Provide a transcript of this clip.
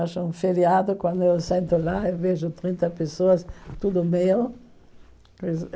Acho um feriado quando eu sento lá e vejo trinta pessoas, tudo meu.